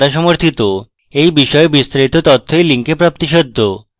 এই বিষয়ে বিস্তারিত তথ্য এই link প্রাপ্তিসাধ্য